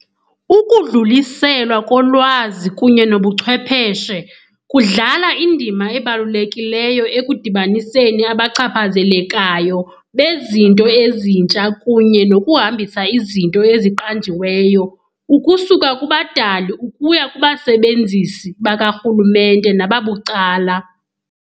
Ukudluliselwa kolwazi kunye nobuchwepheshe kudlala indima ebalulekileyo ekudibaniseni abachaphazelekayo bezinto ezintsha kunye nokuhambisa izinto eziqanjiweyo ukusuka kubadali ukuya kubasebenzisi bakarhulumente nababucala.